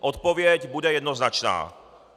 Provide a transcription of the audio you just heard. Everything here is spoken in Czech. Odpověď bude jednoznačná.